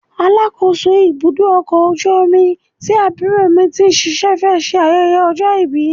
Alákòóso ibùdó ọkọ̀ ojú omi tí àbúrò mi ti ń ṣíṣe fẹ́ ṣe ayẹyẹ ọjọ́ ìbí.